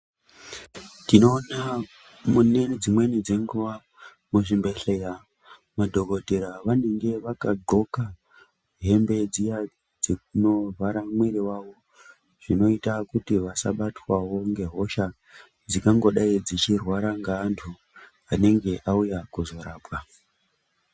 Tinoona munedzimweni dzenguwa muzvibhedhlera madhokodheya anenge akadxoka hembe dzinovhara muviri wayo zvinoita kuti vasazobatwawo ngehosha dzingangodayi dzauya nevanhu vauya kuzorapwa.